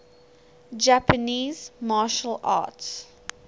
japanese martial arts